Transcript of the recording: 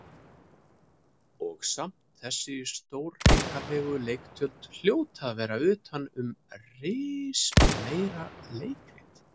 Og samt þessi stórhrikalegu leiktjöld hljóta að vera utan um rismeira leikrit.